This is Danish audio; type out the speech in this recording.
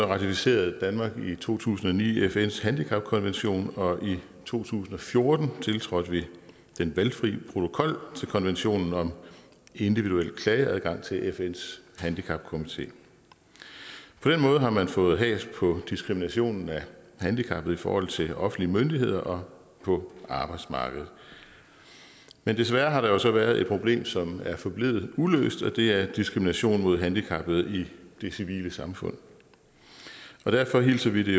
ratificerede danmark i to tusind og ni fns handicapkonvention og i to tusind og fjorten tiltrådte vi den valgfri protokol til konventionen om individuel klageadgang til fns handicapkomité på den måde har man fået has på diskriminationen af handicappede i forhold til offentlige myndigheder og på arbejdsmarkedet men desværre har der så været et problem som er forblevet uløst og det er diskrimination mod handicappede i det civile samfund derfor hilser vi